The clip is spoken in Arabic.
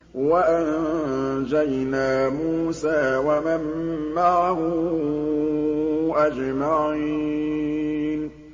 وَأَنجَيْنَا مُوسَىٰ وَمَن مَّعَهُ أَجْمَعِينَ